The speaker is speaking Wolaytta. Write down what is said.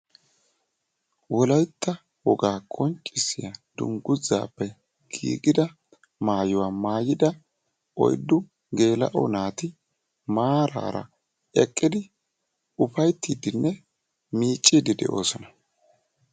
Wolaytta wogaa qonccissiya dungguzzaappe giigida maayuwa maayida oyddu geels"o naati maaraara eqqidi ufayttiiddinne miicciiddi de'oosona.